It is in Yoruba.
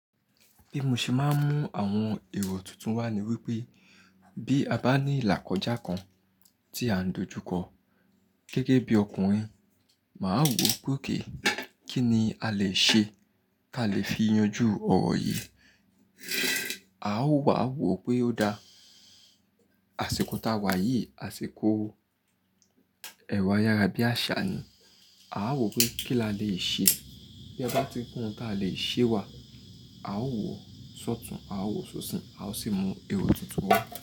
Bí mo ṣe máa ń mú àwọn èrò tuntun wá ni wípé bí a bá ní ìlà kọjá kan tí à ń dojú kọ, gẹ́gẹ́ bí ọkùnrin, màá wò pé okay kí ni a lè ṣe kí a lè fi yanjú ọ̀rọ̀ yìí. A ó wà wò pé ó dá, àsìkò táa wà yìí, àsìkò ẹrọ a yara bí àṣà ni. A ó wò pé kí la lè ṣe. Bí a bá ti rí ohùn ta lè ṣe wà, a ó wò sọ́tùn, a ó wò ṣoṣin, a ó sì mú èrò tuntun wá.